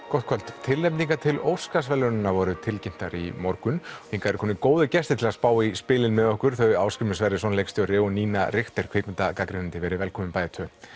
gott kvöld tilnefningar til Óskarsverðlaunanna voru tilkynntar í morgun hingað eru komnir góðir gestir til að spá í spilin með okkur þau Ásgrímur Sverrisson leikstjóri og Nína Richter kvikmyndarýnir verið velkomin bæði tvö